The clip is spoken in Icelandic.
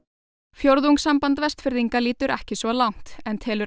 fjórðungssamband Vestfirðinga lítur ekki svo langt en telur